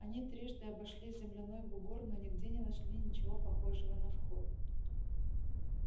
они трижды обошли земляной бугор но нигде не нашли ничего похожего на вход